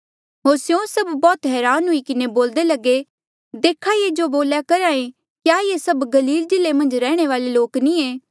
होर स्यों सभ बौह्त हरान हुई किन्हें बोल्दे लगे देखा ये जो बोल्या करहा ऐें क्या ये सभ गलील जिल्ले मन्झ रैहणे वाले लोक नी ऐें